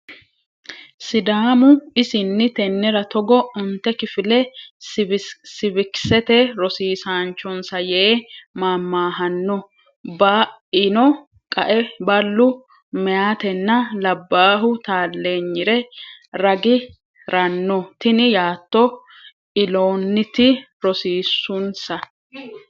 Sidaamu isinni tennera togo onte kifile siiviksete rosiisaanchonsa yee maammaahanno Ba ino qae ballu meyaatenna labbaahu taalleenyire ragi ranno Tini yaattono illoonniti rosiissunsa.